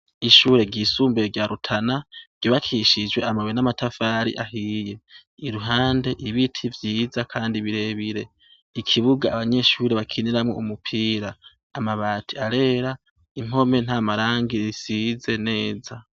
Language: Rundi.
Ishure ryisumbue ryarutana ryo bakishijwe amawe n'amatafari ahiye iruhande ibiti vyiza, kandi birebire ikibuga abanyeshuri bakiniramwo umupira amabati arera impome nta marangir isize neza.